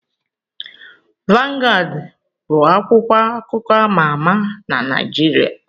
Vangad bụ akwụkwọ akụkọ ama ama na Naijiria.